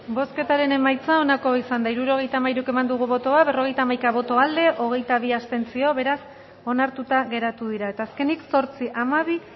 bozketaren emaitza onako izan da hirurogeita hamairu eman dugu bozka berrogeita hamaika boto aldekoa hogeita bi abstentzio beraz onartuta geratu dira eta azkenik zortzi hamabi